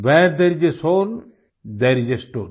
where there is a soul there is a story